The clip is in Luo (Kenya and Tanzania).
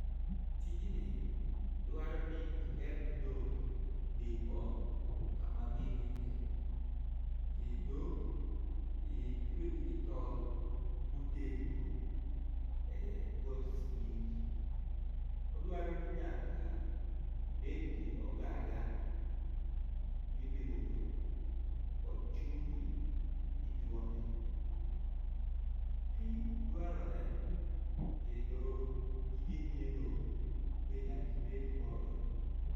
Tijni dwaroni iger ne dhok dipo kama gininde kendo itwegi gi tol motegno ekor sigingi. Odwaro ni nyaka ibed gi ogada mipidho dhok kod chumvi mituone. Pii dwarore kendo gige nyiedho be nyaka ibed godo